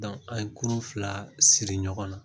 an ye kurun fila siri ɲɔgɔn na.